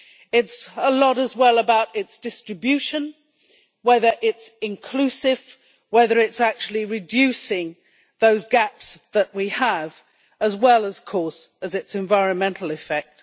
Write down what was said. It is a lot as well about its distribution, whether it is inclusive, whether it is actually reducing those gaps that we have, as well, of course, as its environmental effect.